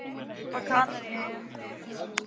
Tengdaforeldrar hans voru á Kanaríeyjum.